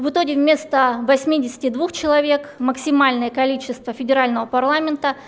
в итоге вместо восьмидесяти двух человек максимальное количество федерального парламента